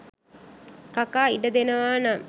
කකා ඉඩ දෙනවා නම්.